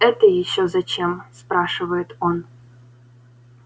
это ещё зачем спрашивает он